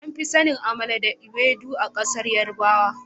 Ana fi sanin " amala and ewedu " a kasan yarbawa.